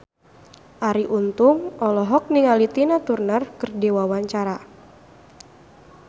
Arie Untung olohok ningali Tina Turner keur diwawancara